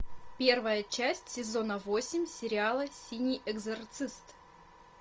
первая часть сезона восемь сериала синий экзорцист